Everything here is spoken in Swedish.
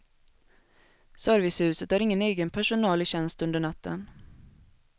Servicehuset har ingen egen personal i tjänst under natten.